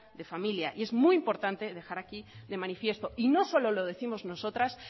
de familia y es muy importante dejar aquí de manifiesto y no solo lo décimos nosotras